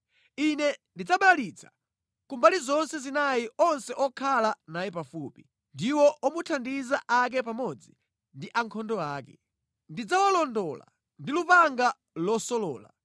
Ine ndidzabalalitsa kumbali zonse zinayi onse okhala naye pafupi, ndiwo omuthandiza ake pamodzi ndi ankhondo ake. Ndidzawalondola ndi lupanga losolola.